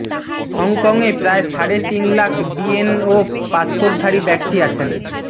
হংকংয়ে প্রায় সাড়ে তিন লাখ বিএনও পাসপোর্টধারী ব্যক্তি আছেন